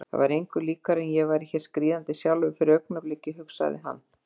Það var engu líkara en ég væri hér skríðandi sjálfur fyrir augnabliki, hugsaði hann.